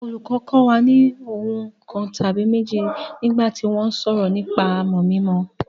Olùkọ́ kọ́ wa ní ohun kan tàbí méjì nígbà tí wọ́n ń sọ̀rọ̀ nípa àmọ̀ mímọ.